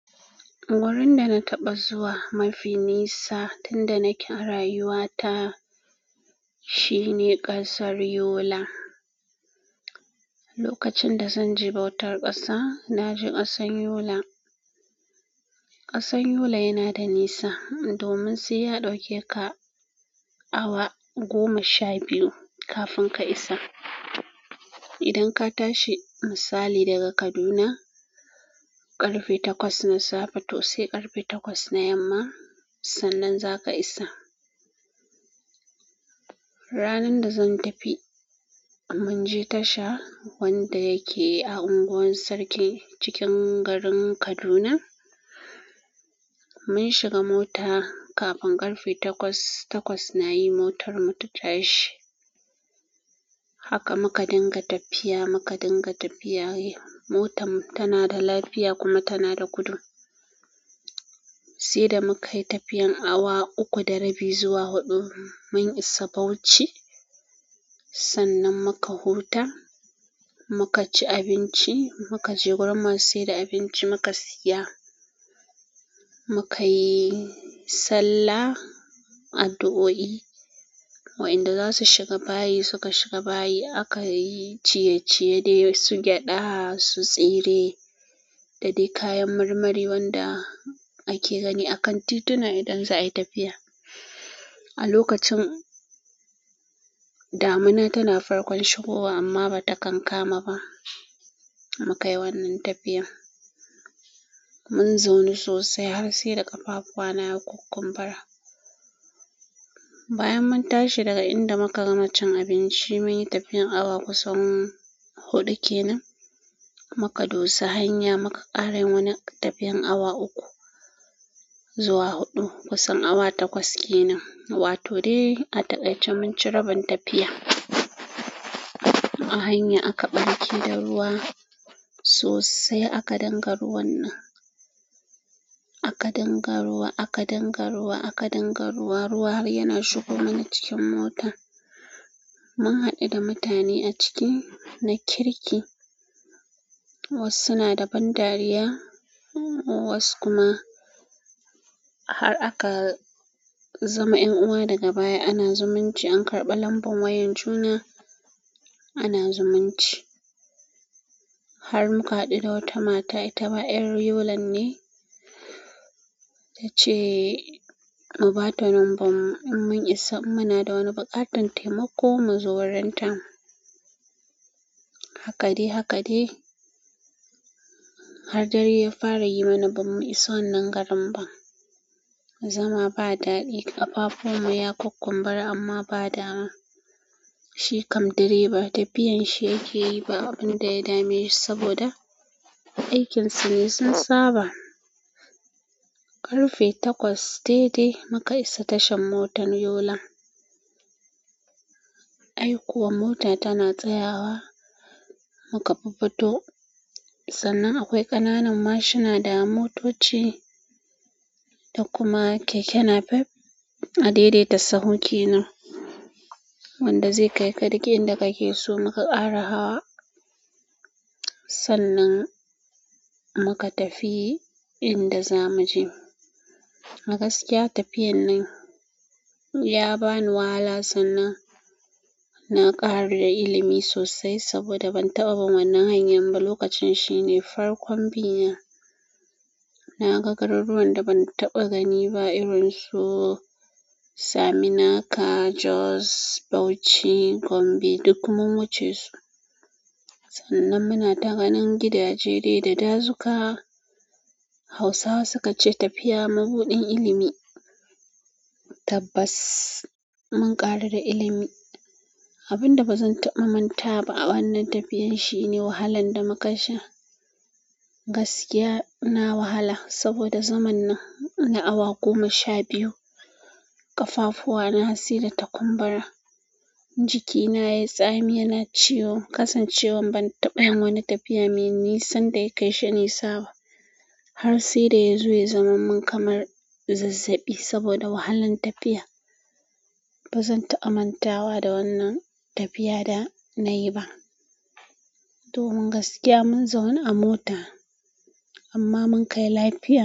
Wurin da na taɓa zuwa mafi nisa tun da nake rayuwata, shine ƙasar Yola. Lokacin da zan je bautar ƙasa naje ƙasar yola ƙasan Yola yana da nisa domin sai ya ɗauke ka awa goma sha biyu kafin ka isa. Idan ka tashi misali daga Kaduna ƙarfe takwas na safe to sai ƙarfe takwas na yamma, sannan za ka isa. Ranan da zan tafi, mun je tasha wanda yake a unguwar Sarki cikin garin Kaduna. Mun shiga mota kafin ƙarfe takwas, takwas na yi motar mu ta tashi. Haka muka dinga tafiya, muka dinga tafiya. Motan mu tana da lafiya kuma tana da gudu. Sai da muka yi tafiyan awa uku da rabi zuwa huɗu mun isa Bauchi. Sannan muka huta, muka ci abinci, muka je gurin masai da abinci muka siya. Muka yi sallah, addu'o'i. Wa'inda za su shiga bayi suka shiga bayi. Akayi ciyeciye dai su gyaɗa, su tsire da dai kayan marmari wanda ake gani a kan tituna idan za a yi tafiya. A lokacin, damina tana farkon shigowa amma ba ta kan kama ba. Mu ka yi wannan tafiyan. Mun zaunu sosai har sai da ƙafafuwa na ya kukkumbura. Bayan mun tashi daga inda muka gama cin abinci, mun yi tafiyan awa kusan huɗu kenan muka dosa hanya muka ƙara yin wani tafiyan awa uku zuwa huɗu. Kusan awa takwas kenan. Wato dai a taƙai ce mun ci rabin tafiya. A hanya aka ɓarke da ruwa sosai aka dinga ruwan nan. Aka dinga ruwa, aka dinga ruwa, aka dinga ruwa, ruwa har yana shigo mana cikin mota. Mun haɗu da mutane a ciki na kirki. Wasu suna da ban dariya, wasu kuma har aka zama 'yan uwa daga baya. Ana zumunci an karɓa lambulan wayan juna, ana zumunci. Har muka haɗu da wata mata ita ma ƴar yolan ne tace mu bata nomban mu in mun isa in muna da wani buƙatar wani taimako muzo wurin ta hakadai-hakade har dare ya fara yi mana bam mu iso wannan garin ba. Zama ba daɗi, ƙafafun mu ya kukkumbura amma ba dama shi kam direba tafiyan shi yake yi ba abin da ya dame sa saboda aikinsu ne sun saba. Ƙarfe takwas daidai muka isa tashar motar Yola. Ai kuwa mota tana tsayawa. Muka fuffuto sannan akwai ƙananan mashina da motoci da kuma keke napep a daidaita sahu kenan wanda zai kai ka duk inda kake so muka ƙara hawa. Sannan muka tafi inda za mu je. Gaskiya tafiyar nan ya bani wahala sannan na ƙaru da ilimi sosai saboda ban taɓa bin wannan hanyar ba lokacin shine farkon bina naga garuruwan da ban taɓa bi ba irinsu Hausawa suka ce "Tafiya mabuɗin ilimi". Tabbas mun ƙaru da ilimi abin da bazan taɓa manta ba a wannan tafiyan shi ne wahalan da muka sha. Gaskiya na wahala saboda zaman nan na awa goma sha biyu. Ƙafafuwa na har sai da ta kumbura, jiki na yayi tsami, yana ciwo. Kasancewan ban taɓa yin wani tafiya mai nisa da ya kai shi nisa ba har sai da ya zo ya zaman mun kamar zazzaɓi saboda wahalan tafiya. Bazan taɓa mantawa da wannan tafiya da nayi ba. Domin gaskiya mun zauna a mota amma mun kai lafiya.